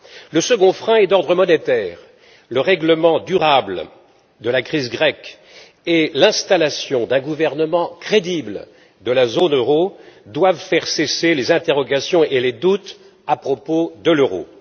Le second frein est d'ordre monétaire le règlement durable de la crise grecque et l'installation d'un gouvernement crédible de la zone euro doivent faire cesser les interrogations et les doutes à propos de l'euro.